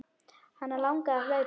Hana langar að hlaupa.